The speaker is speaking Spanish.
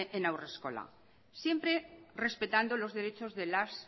en haurreskola siempre respetando los derechos de las